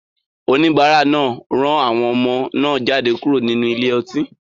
Oníbàárà náà rán àwọn ọmọ náà jáde kúrò nínú ile-ọtí.